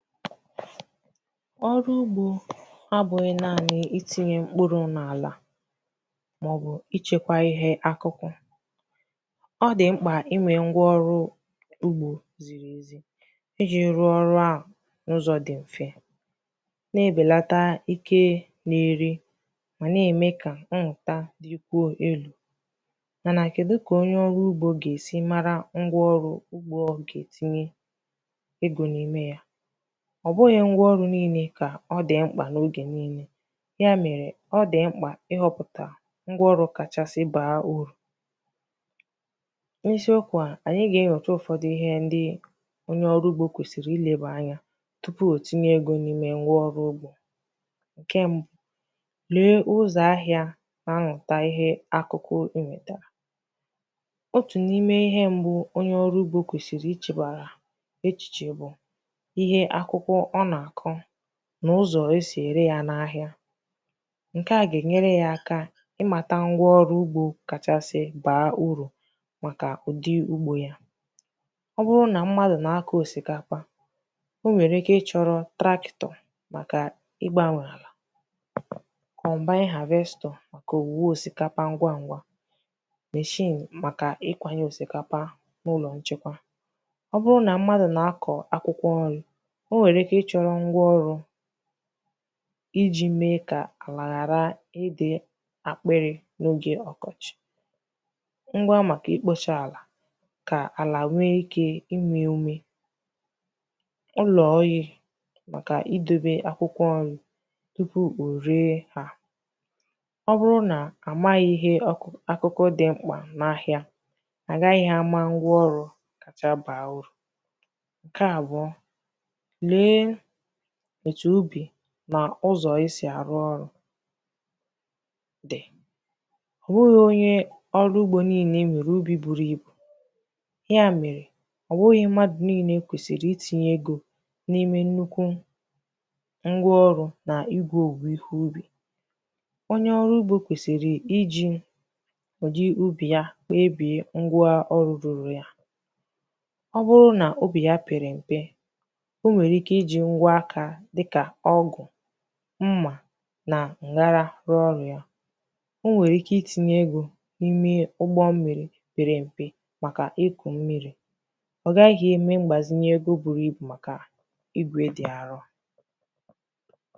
ọrụ ugbō abụghị̄ naanị̄ itīnyē mkpụrụ̄ n’àlà màọbụ̀ ichēkwā ihe akụkụ ọ dị̀ mkpà inwē ngwa ọrụ ugbō ziri ezi ijī rụọ ọrụ ahụ̀ n’ụzọ̀ dì mfe n’ebèlàta ike na-eri mà nà-ème kà mmụ̀ta dikwuo elū mà nà kèdu kà onye ọrụ ugbō gà-èsi mara ngwa ọrụ ugbō ọ gà ètinye egō n’ime ya ọ̀ bụghị̄ ngwa ọrụ niilē kà ọ dị̀ m̀kpà n’ogè niilē ya mèrè ọ dị̀ m̀kpà ịhọ̄pụ̀tà ngwa ọrụ kachasị bàa urù n’isiokwū a ànyi ga-ewèta ụ̀fọdụ ihe ndi onye ọrụ ugbō kwèsìrì ilēbà anya tupu ò tinye egō n’ime ngwa ọrụ ugbō ǹkè mbụ̄ lee ụzọ̀ ahịā na-amị̀ta ihe akụkụ mị̀tàrà otù n’ime ihe mbụ̄ onye ọrụ ugbō kwèsìrì ichēbàrà echìchè bụ̀ ihe akụkụ ọ nà-àkụ nà ụzọ̀ e sì ère ya n’ahịa ǹkè ga-enyere ya aka ịmātā ngwa ọrụ ugbō kachasi bàa urù màkà ùdi ugbō ya ọ bụrụ nà mmadụ̀ na-akọ̀ osīkapa o nwèrè ike ị chọ̄rọ̄ tractor màkà ịgbāwā àlà combine harvestor màkà òwùwè òsikapa osisō machine màkà ikwānyē òsikapa n’ụlọ̀ nchekwa ọ bụrụ nà mmadụ̀ na-akọ̀ akwụkwọ nrī o nwèrè ike ị chọ̄rọ̄ ngwa ọrụ̄ ijī mee kà àlà ghàra ịdị̄ akpịrị̄ n’ogè ọkọchị̀ ngwa màkà ikpōchē àlà kà àlà nwee ike inwē ume ụlọ̀ ọyị̄ màkà idōbē akwụkwọ ọȳị tupu ò ree ha ọ bụrụ nà àmaghị̄ ihe akụkụ dị̀ mkpà n’ahịa à gaghị̄ àma ngwa ọrụ kacha bàà urù nke abụọ lèe otu ubì nà ụzọ̀ èsi àrụ ọrụ̄ dị̀ ọ̀ bụghị̄ onye ọrụ ugbō niilē nwèrè ubì buru ibù ya mèrè ọ̀bụghị̄ mmadụ̀ niilē kwèsìrì itīnyē egō n’ime nnukwu ngwa ọrụ̄ nà igō ihe ubì onye ọrụ ugbō kwèsìrì ijī ǹji ubì ya wèe bìe ngwa ọrụ̄ ruru ya ọ bụrụ nà ubì pèrè m̀pe o nwèrè ike ijī ngwa aka dịkà ọgụ̀ mma na m̀gbagha rụọ ọrụ ya o nwèrè ike itinyē egō n’ime ugbo mmirī pere m̀pe màkà ikù mmirī ọ̀ gaghị̄ eme mgbàzinye ego buru ibù màkà igwè dị̀ arọ